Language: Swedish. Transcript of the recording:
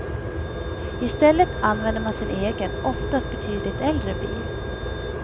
I stället använder man sin egen, oftast betydligt äldre bil.